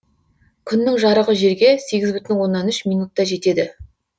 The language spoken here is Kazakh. күннің жарығы жерге сегіз бүтін оннан үш минутта жетеді